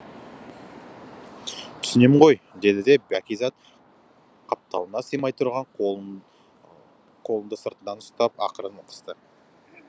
түсінем ғой деді де бәкизат қапталыңа симай тұрған қолыңды сыртынан ұстап ақырын қысты